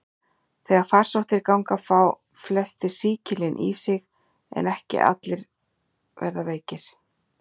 Þegar farsóttir ganga fá flestir sýkilinn í sig, en ekki verða allir veikir.